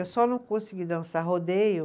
Eu só não consegui dançar rodeio.